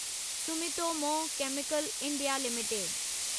Sumitomo chemical India limited